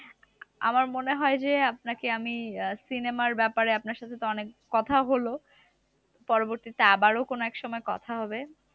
আমার মনে হয় যে, আপনাকে আমি cinema র ব্যাপারে আপনার সাথে তো অনেক কথা হলো। পরবর্তীতে আবারও কোনো এক সময় কথা হবে।